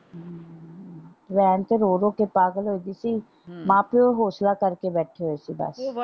ਭੈਣ ਤੇ ਰੋ ਰੋ ਕੇ ਪਾਗਲ ਹੋਗੀ ਸੀ ਮਾਂ ਪਿਓ ਹੋਂਸਲਾ ਕਰਕੇ ਬੈਠੇ ਹੋਏ ਸੀ ਬਸ ਉਹ।